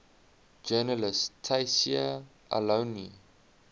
journalist tayseer allouni